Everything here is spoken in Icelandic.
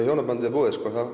hjónabandið er búið